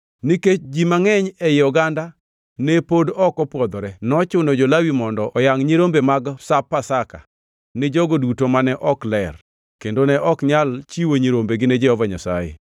Nikech ji mangʼeny ei oganda ne pod ok opwodhore, nochuno jo-Lawi mondo oyangʼ nyirombe mag Sap Pasaka ni jogo duto mane ok ler kendo ne ok nyal chiwo nyirombegi ni Jehova Nyasaye.